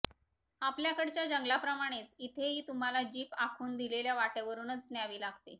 आपल्याकडच्या जंगलांप्रमाणेच इथेही तुम्हाला जीप आखून दिलेल्या वाटांवरूनच न्यावी लागते